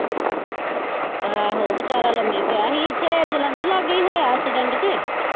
ਆਹੋ ਵਿਚਾਰਾ ਲੰਮੇ ਪਿਆ ਹੀ ਇੱਥੇ ਜਲੰਧਰ ਲਾਗੇ ਹੀ ਹੋਇਆ accident ਤੇ।